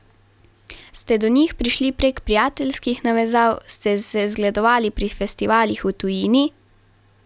Ste do njih prišli prek prijateljskih navezav, ste se zgledovali pri festivalih v tujini?